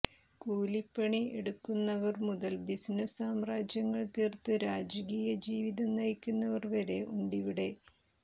കൂലിപ്പണി എടുക്കുന്നവർ മുതൽ ബിസിനസ്സ് സാമ്രാജ്യങ്ങൾ തീർത്ത് രാജകീയ ജീവിതം നയിക്കുന്നവർ വരെ ഉണ്ടിവിടെ